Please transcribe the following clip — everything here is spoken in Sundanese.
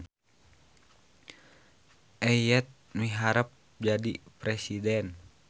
Eyet miharep jadi presiden